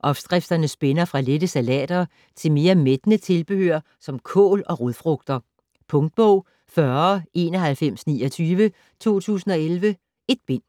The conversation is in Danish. Opskrifterne spænder fra lette salater til mere mættende tilbehør som kål og rodfrugter. Punktbog 409129 2011. 1 bind.